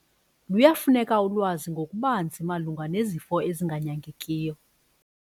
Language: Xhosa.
Luyafuneka ulwazi ngokubanzi malunga nezifo ezinganyangekiyo.